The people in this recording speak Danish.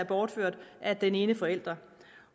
bortført af den ene forælder